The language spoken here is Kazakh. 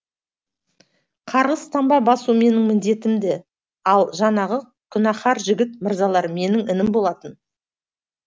қарғыс танба басу менің міндетім ді ал жаңағы күнәһар жігіт мырзалар менің інім болатын